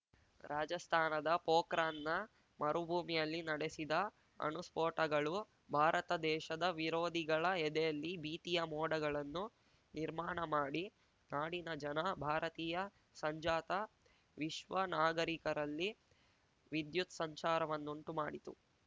ರಾಜಸ್ಥಾನದ ಪೋಖ್ರಾನ್‌ನ ಮರುಭೂಮಿಯಲ್ಲಿ ನಡೆಸಿದ ಅಣುಸ್ಫೋಟಗಳು ಭಾರತ ದೇಶದ ವಿರೋಧಿಗಳ ಎದೆಯಲ್ಲಿ ಭೀತಿಯ ಮೋಡಗಳನ್ನು ನಿರ್ಮಾಣ ಮಾಡಿ ನಾಡಿನ ಜನ ಭಾರತೀಯ ಸಂಜಾತ ವಿಶ್ವ ನಾಗರಿಕರಲ್ಲಿ ವಿದ್ಯುತ್‌ ಸಂಚಾರವನ್ನುಂಟು ಮಾಡಿತು